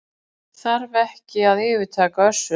Þarf ekki að yfirtaka Össur